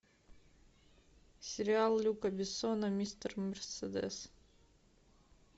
сериал люка бессона мистер мерседес